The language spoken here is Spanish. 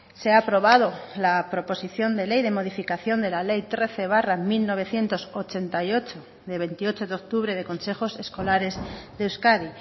se ha aprobado la proposición de ley de modificación de la ley trece barra mil novecientos ochenta y ocho de veintiocho de octubre de consejos escolares de euskadi